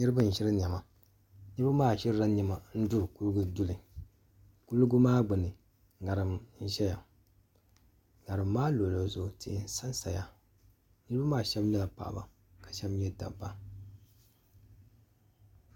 niraba n ʒiri niɛma niraba maa ʒirila niɛma n duri kuligi duli kuligi maa gbuni ŋarim n ʒɛya ŋarim maa luɣuli zuɣu tihi n sansaya niraba maa shab nyɛla paɣaba ka shab nyɛ dabba